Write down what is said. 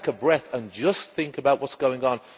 Take a breath, and just think about what is going on.